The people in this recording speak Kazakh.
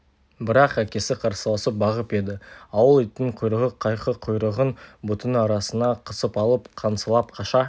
бірақ әкесі қарсыласып бағып еді ауыл итінің құйрығы қайқы құйрығын бұтының арасына қысып алып қаңсылап қаша